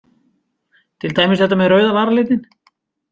Til dæmis þetta með rauða varalitinn.